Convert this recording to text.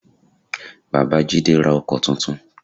Bàbá Jídé ra Ọkọ́ tuntun